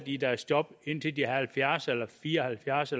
i deres job indtil de er halvfjerds eller fire og halvfjerds